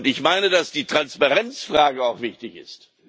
Ich meine, dass die Transparenzfrage auch wichtig ist.